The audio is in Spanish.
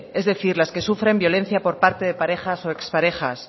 es decir las que sufren violencia por parte de parejas o ex parejas